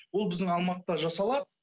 ол біздің алматыда жасалады